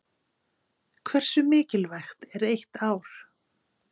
Hversu mikilvægt er eitt ár?